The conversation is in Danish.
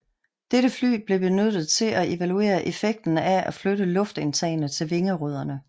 Dette fly blev benyttet til at evaluere effekten af at flytte luftindtagene til vingerødderne